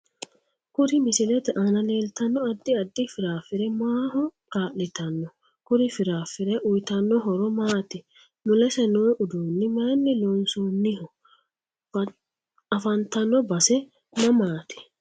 Kuri misilete aana leeltanno addi addi firaafire maaho kaali'tanno kuri firaafire uyiitanno horo maati mulese noo uduuni mayiini loonsooniho afantanno base mamaati